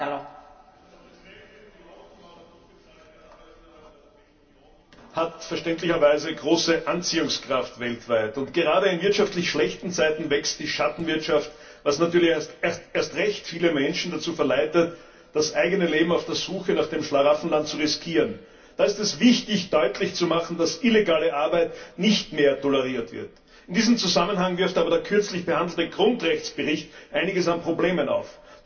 Frau Präsidentin! Die Hoffnung auf gut bezahlte Arbeit hat verständlicherweise weltweit große Anziehungskraft. Gerade in wirtschaftlich schlechten Zeiten wächst die Schattenwirtschaft, was natürlich erst recht viele Menschen dazu verleitet, das eigene Leben auf der Suche nach dem Schlaraffenland zu riskieren. Da ist es wichtig, deutlich zu machen, dass illegale Arbeit nicht mehr toleriert wird. In diesem Zusammenhang wirft aber der kürzlich behandelte Grundrechtsbericht einiges an Problemen auf.